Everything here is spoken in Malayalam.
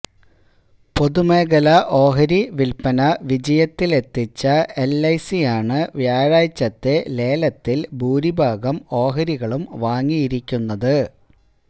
പൊതുമേഖലാ ഓഹരി വില്പന വിജയത്തിലെത്തിച്ച എല്ഐസിയാണ് വ്യാഴാഴ്ചത്തെ ലേലത്തില് ഭൂരിഭാഗം ഓഹരികളും വാങ്ങിയിരിക്കുന്നത്